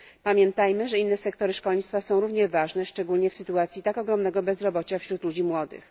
Pamiętajmy, że inne sektory szkolnictwa są równie ważne, szczególnie w sytuacji tak ogromnego bezrobocia wśród ludzi młodych.